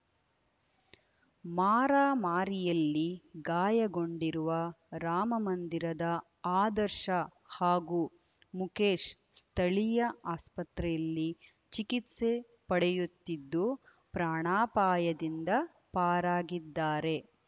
ಮಾರಾಮಾರಿಯಲ್ಲಿ ಗಾಯಗೊಂಡಿರುವ ರಾಮಮಂದಿರದ ಆದರ್ಶ ಹಾಗೂ ಮುಕೇಶ್ ಸ್ಥಳೀಯ ಆಸ್ಪತ್ರೆಯಲ್ಲಿ ಚಿಕಿತ್ಸೆ ಪಡೆಯುತ್ತಿದ್ದು ಪ್ರಾಣಾಪಾಯದಿಂದ ಪಾರಾಗಿದ್ದಾರೆ